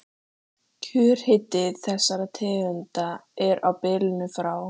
Kjörhiti þessara tegunda er á bilinu frá